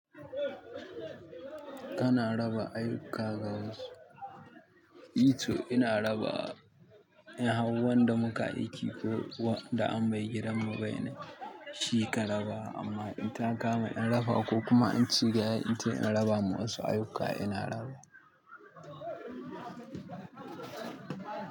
Kana raba aiyuka ga wasu, ni to ina raba in har wanda muka aiki ko wanda idan har maigidan mu bainan shi ka rabawa amma inta kama in raba, ko kuma ance gashi intai in rabawa wasu aiyuka ina rabawa.